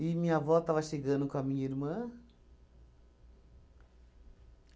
minha avó estava chegando com a minha irmã.